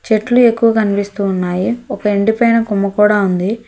చెట్లు ఎక్కువ కన్పిస్తూ ఉన్నాయి ఒక ఎండిపోయిన కొమ్మ కూడా ఉంది.